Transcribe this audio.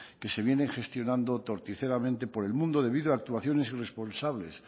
que se vienen gestionando torticeramente por el mundo debido a actuaciones irresponsables